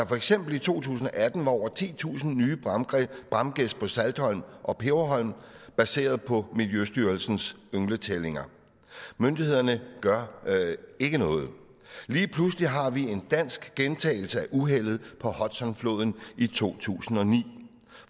for eksempel i to tusind og atten over titusind nye bramgæs på saltholm og peberholm baseret på miljøstyrelsens yngletællinger myndighederne gør ikke noget lige pludselig har vi en dansk gentagelse af uheldet på hudsonfloden i to tusind og ni